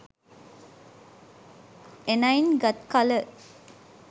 එනයින් ගත්කල